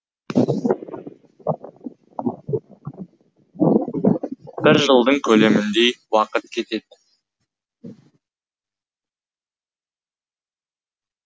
бір жылдың көлеміндей уақыт кетеді